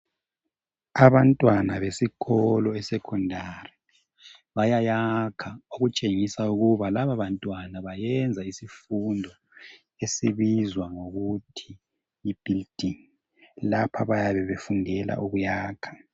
Abantwana besikolo e secondary bayayakha , okutshengisa ukuba lababantwana bayenza isifundo esibizwa ngokuthi yi building lapha bayabe befundela ukuyakha